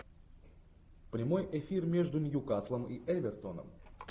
прямой эфир между ньюкаслом и эвертоном